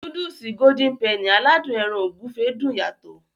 Núdùùsì "Golden Penny" aládùn ẹran ògúfe dùn yàtọ̀.